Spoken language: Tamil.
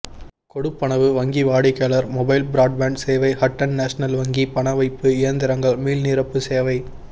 கொடுப்பனவு வங்கி வாடிக்கையார் மொபைல் புரோட்பான்ட் சேவை ஹட்டன் நெஷனல் வங்கி பண வைப்பு இயந்திரங்கள் மீள்நிரப்பு சேவை